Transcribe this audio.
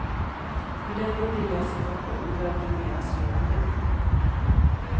För denna nya situation bör planeras redan nu.